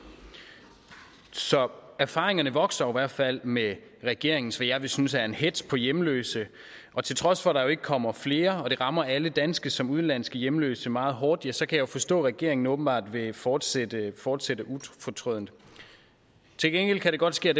så erfaringerne vokser jo i hvert fald med regeringens hvad jeg vil synes er en hetz på hjemløse og til trods for at der jo ikke kommer flere og det rammer alle danske som udenlandske hjemløse meget hårdt så kan jeg jo forstå at regeringen åbenbart vil fortsætte fortsætte ufortrødent til gengæld kan det godt ske